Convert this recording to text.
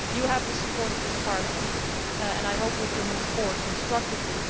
You have the support of this Parliament, Baroness Ashton, and I hope we can move forward constructively.